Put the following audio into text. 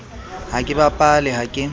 ha ke bapale ha ke